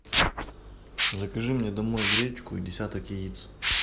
закажи мне домой гречку и десяток яиц